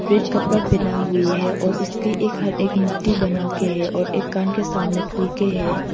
Red कपड़ा पहना हुई है और इसके एक हाथ एक मुट्ठी बनाके है और एक कान के सामने खुल के है।